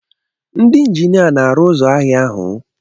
Ndị injinia na-arụ ụzọ ahịa ahụ?